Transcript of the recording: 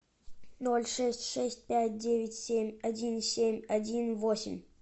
ноль шесть шесть пять девять семь один семь один восемь